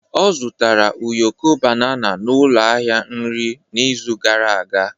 Ọ zụtara ụyọkọ banana n'ụlọ ahịa nri n'izu gara aga.